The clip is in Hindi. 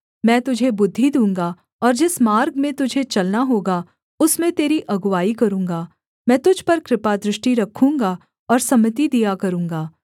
मैं तुझे बुद्धि दूँगा और जिस मार्ग में तुझे चलना होगा उसमें तेरी अगुआई करूँगा मैं तुझ पर कृपादृष्टि रखूँगा और सम्मति दिया करूँगा